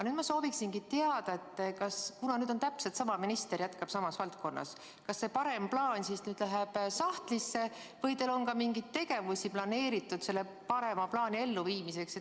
Nüüd ma sooviksingi teada, et kuna täpselt sama minister jätkab samas valdkonnas, kas see parem plaan läheb nüüd sahtlisse või teil on ka mingeid tegevusi planeeritud selle parema plaani elluviimiseks.